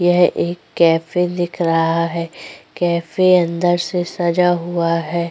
यह एक कैफे दिख रहा है। कैफे अंदर से सजा हुआ है।